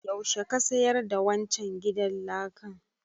Yaushe ka sayar da wancan gidan lakan?